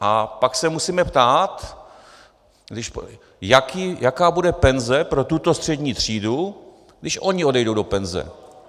A pak se musíme ptát, jaká bude penze pro tuto střední třídu, když oni odejdou do penze.